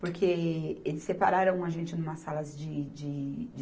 Porque eles separaram a gente numa salas de, de, de